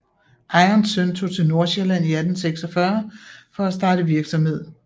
Ejerens søn tog til Nordsjælland i 1846 for at starte virksomhed